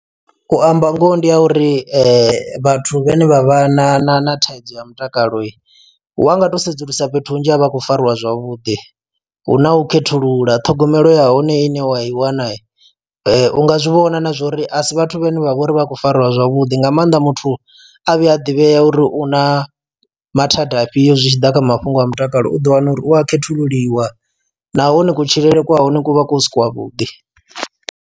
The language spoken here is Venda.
U amba ngoho ndi ha uri vhathu vhane vha vha na na na thaidzo ya mutakalo wanga to sedzulusa fhethu hunzhi avha akho fariwa zwavhuḓi hu na u khethulula ṱhogomelo ya hone ine wa i wana u nga zwi vhona na zwa uri a si vhathu vhane vha vha uri avha khou fariwa zwavhuḓi nga maanḓa muthu a vhuya a ḓivhea uri u na mathada afhio zwi tshi ḓa kha mafhungo a mutakalo uḓi wana uri u a khethululiwa nahone kutshilele kwa hone ku vha ku si kwa vhuḓi.